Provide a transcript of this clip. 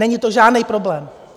Není to žádný problém.